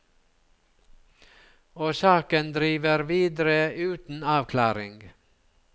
Og saken driver videre uten avklaring.